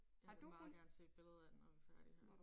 Jeg vil meget gerne se et billede af når vi er færdige her